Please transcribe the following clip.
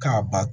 K'a ba